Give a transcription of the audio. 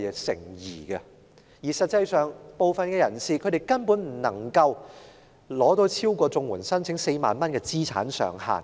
實際上，部分人士所獲取的金額根本不會超過申請綜援的4萬元資產上限。